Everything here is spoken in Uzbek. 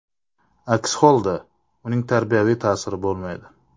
Aks holda, uning tarbiyaviy ta’siri bo‘lmaydi.